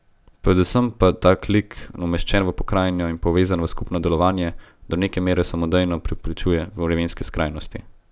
Predvsem pa tak lik, umeščen v pokrajino in povezan v skupno delovanje, do neke mere samodejno preprečuje vremenske skrajnosti.